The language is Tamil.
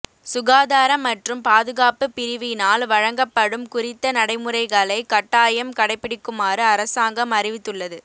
சுகாதார மற்றும் பாதுகாப்பு பிரிவினால் வழங்கப்படும் குறித்த நடைமுறைகளை கட்டாயம் கடைப்பிடிக்குமாறு அரசாங்கம் அறிவித்துள்ளது